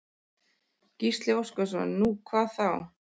Gísli Óskarsson: Nú, hvað þá?